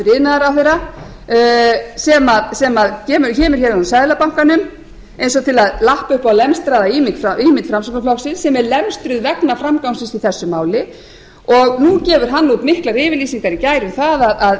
sem kemur hér úr seðlabankanum eins og til að lappa upp á lemstraða ímynd framsóknarflokksins sem er lemstruð vegna frangangs síns í þessu máli og nú gefur hann út miklar yfirlýsingar þegar hann